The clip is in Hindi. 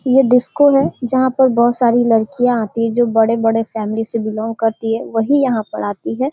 यह डिस्को है जहाँ पर बहुत सारी लडकियाँ आती है जो बड़े-बड़े फेमली से बिलोंग करती है वही यहाँ पर आती है।